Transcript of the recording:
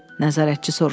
Nəzarətçi soruşdu.